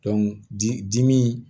di dimi